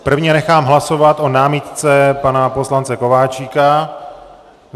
Prvně nechám hlasovat o námitce pana poslance Kováčika.